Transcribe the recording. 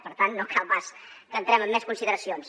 per tant no cal pas que entrem en més consideracions